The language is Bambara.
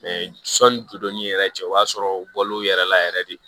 sɔnni todonni yɛrɛ cɛ o y'a sɔrɔ u bɔl'o yɛrɛ la yɛrɛ de